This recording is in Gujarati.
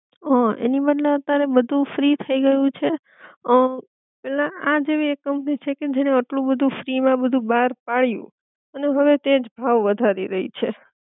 હઅ એની બદલે અતારે બધુ ફ્રી થઈ ગયું છે અ એટલે આજ એવી એક કંપની છે કે જેણે આટલું બધુ ફ્રી માં બધુ બાર પડી અને હવે તે જ ભાવ વધારી રહી છે